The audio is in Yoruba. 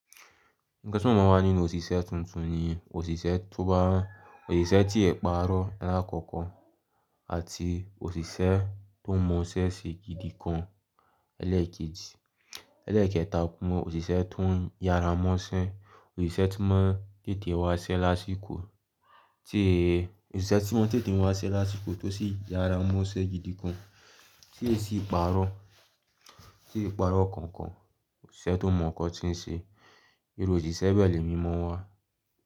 Ǹkan tí mo máa n wà nínú òṣìṣẹ́ tuntun ni òṣìṣẹ́ tó bá ń, òṣìṣẹ́ tí e pàrọ́ la l'àkọ́kọ́ àti òṣìṣẹ́ tó mọ iṣẹ́ ṣe gidi kan ẹlẹ́ẹ̀kejì. Ẹlẹ́ẹ̀kẹta, mo mọ òṣìṣẹ́ tó ń yára mọ́ṣẹ́, òṣìṣẹ́ tó mọ tètè wá ṣẹ́ lásìkò tí, òṣìṣẹ́ tó mọ tètè wá ṣẹ́ lásìkò tó sì yára mọ́ṣẹ́ gidi kan tí e sì pàrọ̀, tí ó sì pàrọ̀ kankan òṣìṣẹ́ tó mọ nǹkan tí ń ṣe. Iru òṣìṣẹ́ bẹ le mi mọ́ n wa.